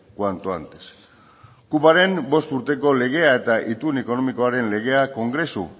cuanto antes kupoaren bost urteko legea eta itun ekonomikoaren legea kongresu